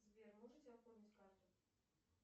сбер можете оформить карту